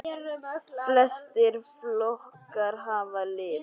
Flestir flókar hafa lit.